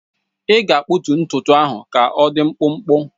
Ị ga-akpụtu ntutu ahụ ka ọdị mkpụmkpụ!